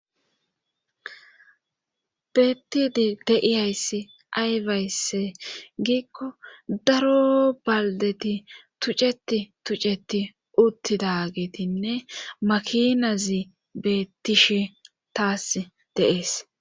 Bettidi deiyayssi aywayse giikko daro baldeti tucceti tuceti uttida geetinne makinazi beettishe taas deees.